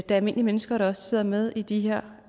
er almindelige mennesker der sidder med i de her